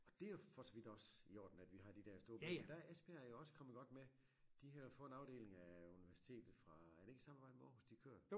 Og det jo for så vidt også i orden at vi har de der storbyer men der er Esbjerg jo også kommet godt med de har fået en afdeling af universitet fra er det ikke samme vej med de kører?